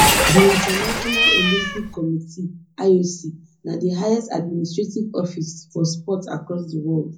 di international olympic committee ioc na di highest administrative office for sports across di world